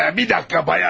Bir dəqiqə, bayan.